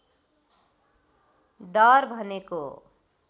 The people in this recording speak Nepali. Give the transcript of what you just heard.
डर भनेको